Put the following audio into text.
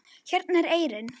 Hérna er eyrin.